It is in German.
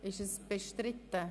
Ist dies bestritten?